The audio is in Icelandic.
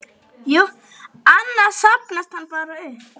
Annars safnast hann bara upp.